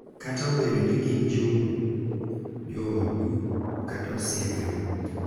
Kata obedo ni gin joodu kata osiepeu.